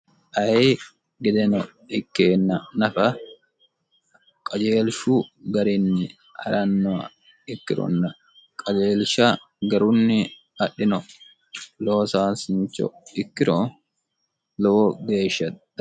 ayi gedeno ikkeenna nafa qajeelshu garinni ha'rannoha ikkironni kajeelsha garunni adhino loosaasincho ikkiro lowo geeshsha da